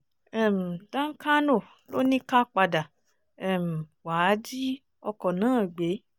um dankano ló ní ká padà um wàá jí ọkọ̀ náà gbé